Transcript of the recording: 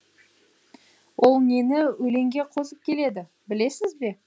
ол нені өлеңге қосып келеді білесіз бе